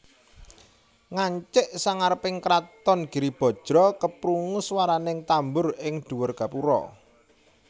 Ngancik sangareping kraton Giribajra keprungu swaraning tambur ing dhuwur gapura